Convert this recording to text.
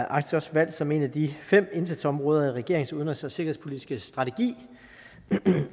arktis også valgt som et af de fem indsatsområder i regeringens udenrigs og sikkerhedspolitiske strategi